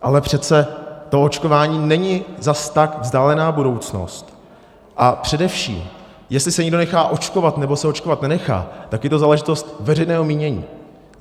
Ale přece to očkování není zas tak vzdálená budoucnost a především, jestli se někdo nechá očkovat, nebo se očkovat nenechá, tak je to záležitost veřejného mínění.